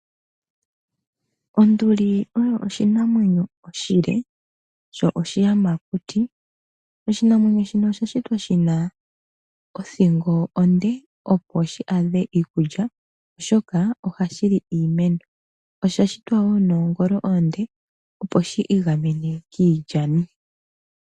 Onduli oyo oshinamwenyo oshile sho oshiyamakuti. Oshinamwenyo shino osha shitwa shi na othingo onde opo shi adhe iikulya oshoka ohashi li iimeno. Osha shitwa wo shi na noongolo oonde opo shi igamene kiilyanu.